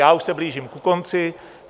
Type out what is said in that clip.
Já už se blížím ke konci.